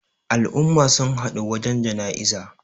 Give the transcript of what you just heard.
al'umma sun haɗu wajen janaiza